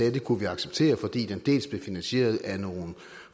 at det kunne vi acceptere fordi den dels blev finansieret af nogle